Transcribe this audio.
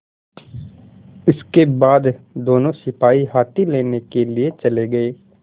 इसके बाद दोनों सिपाही हाथी लेने के लिए चले गए